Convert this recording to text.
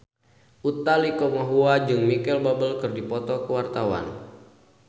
Utha Likumahua jeung Micheal Bubble keur dipoto ku wartawan